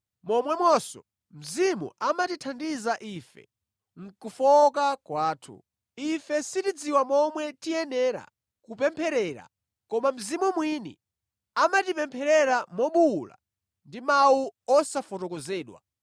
Momwemonso, Mzimu amatithandiza ife mʼkufowoka kwathu. Ife sitidziwa momwe tiyenera kupempherera koma Mzimu mwini amatipempherera mobuwula ndi mawu osafotokozedwa.